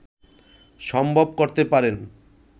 সম্ভব করতে পারেন